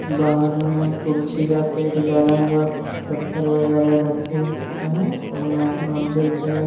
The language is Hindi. बाहर में तुलसी का पेड़ गड़ा हुआ कुछ पत्थर वगैर रखे हुवे हैं उरमें मंदिर के--